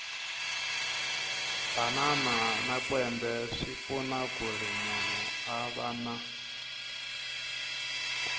banana na kwembe swipfuna kuri munhu a vana